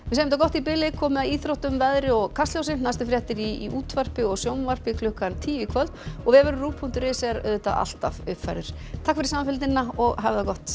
þetta gott í billi komið að íþróttum veðri og Kastljósi næstu fréttir í útvarpi og sjónvarpi klukkan tíu í kvöld og vefurinn rúv punktur is er alltaf uppfærður takk fyrir samfylgdina og hafið það gott